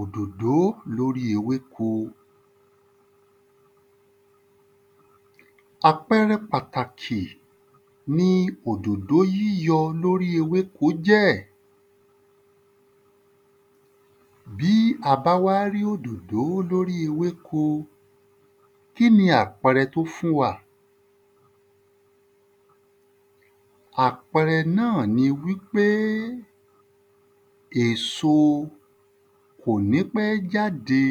Òdòdó lóri ewéko. Àpẹrẹ pàtàkì í òdòdó yíyọ lórí ewéko jẹ́, bí a ba wa rí òdòdó lóri ewéko kíni àpẹrẹ tó fún wa àpẹrẹ náá ni wi pe èso kò ní pẹ jáde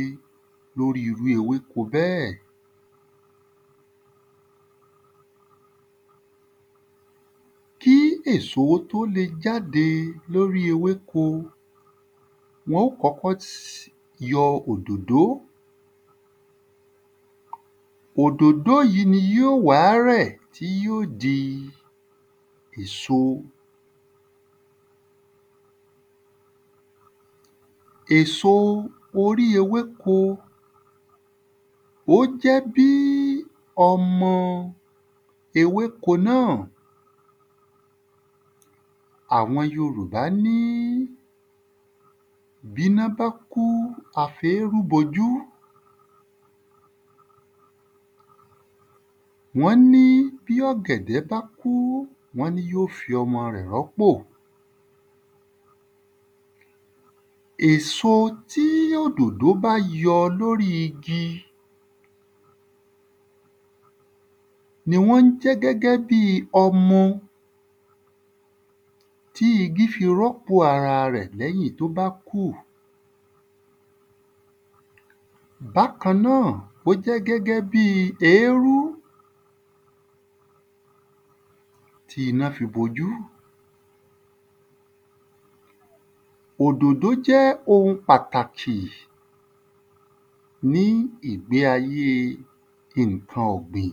lórí irú ewéko bẹ́ẹ́. Kí èso tó lè jáde lórí ewéko wọn ó kọ́kọ́ yọ́ òdòdó, òdòdó yí ní ó wà rẹ̀ tí yíọ dí èso. Èso orí ewéko ó jẹ bí ọmọ ewéko náá, àwọn yorùbá ní bí iná bá kú a fi eerú bojú wọn ní bí ọ̀gẹ̀dẹ̀ bá kú, wọn ní yío fí ọmọ rẹ̀ rọ́pò. Èso tí òdòdó bá yọ́ lórí igi ni wọn jẹ gẹ́gẹ́ bi ọmọ ti igi fi rọ́pò ara rẹ̀ lẹ́yìn tó ba kú. Bákàn náá ó jẹ́ gẹ́gẹ́ bí eerú tí iná fi bo jú. Òdòdó jẹ́ oun pàtàkì ní ìgbésí ayé ǹkan ọ̀gbìn